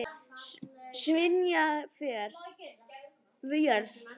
Sviðna jörð?